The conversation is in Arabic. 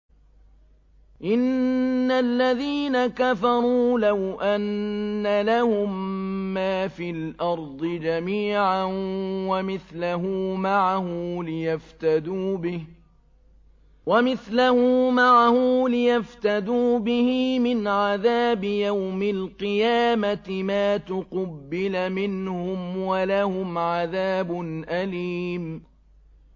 إِنَّ الَّذِينَ كَفَرُوا لَوْ أَنَّ لَهُم مَّا فِي الْأَرْضِ جَمِيعًا وَمِثْلَهُ مَعَهُ لِيَفْتَدُوا بِهِ مِنْ عَذَابِ يَوْمِ الْقِيَامَةِ مَا تُقُبِّلَ مِنْهُمْ ۖ وَلَهُمْ عَذَابٌ أَلِيمٌ